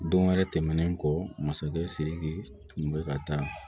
Don wɛrɛ tɛmɛnen kɔ masakɛ siriki tun bɛ ka taa